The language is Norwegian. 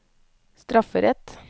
strafferett